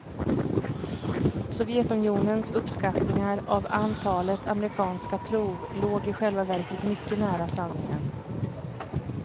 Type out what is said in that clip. Sovjetunionens uppskattningar av antalet amerikanska prov låg i själva verket mycket nära sanningen.